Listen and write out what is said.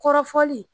Kɔrɔfɔli